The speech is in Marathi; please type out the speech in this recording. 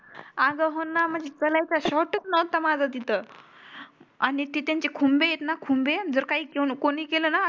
आग होणं म्हणजे माझा तिथं आणि त्यांची खुंबे त ना खुंबे जर काय कोणीही केलं ना